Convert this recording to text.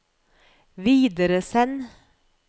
videresend